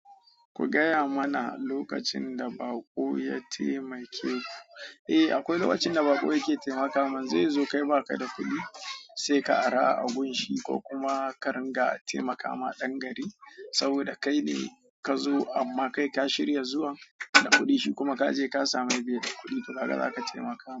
Ku gaya mana lokacin da baƙo ya taimake ku. Eh akwai lokacin da baƙo yake taimakama. Zai zo kai ba ka da kuɗi, sai ka ara a gunshi ko kuma ka ringa taimakama ɗan gari saboda kai ne ka zo amma kai ka shirya zuwan da kuɗi shi kuma ka je ka sami beda kuɗi to kaga za ka taimakamai.